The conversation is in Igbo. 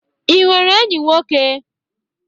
I nwere enyi nwoke?